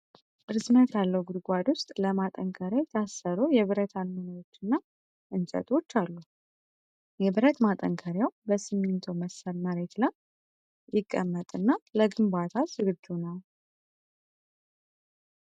ርዝመት ያለው ጉድጓድ ውስጥ ለማጠናከሪያ የታሰሩ የብረት አሞሌዎችና እንጨቶች አሉ። የብረት ማጠናከሪያው በሲሚንቶ መሰል መሬት ላይ ይቀመጥና ለግንባታ ዝግጁ ነው።